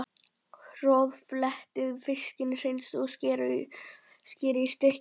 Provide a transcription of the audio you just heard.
Roðflettið fiskinn, hreinsið og skerið í stykki.